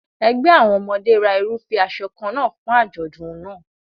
Ẹgbẹ́ àwọn ọmọdé ra irúfẹ́ aṣọ kan náà fún àjọ̀dún náà.